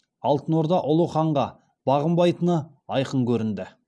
алтынорда ұлы ханға бағынбайтыны айқын көрінді